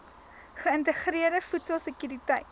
geïntegreerde voedsel sekuriteit